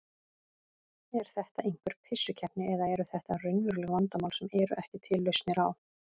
Er þetta einhver pissukeppni eða eru þetta raunveruleg vandamál sem eru ekki til lausnir á?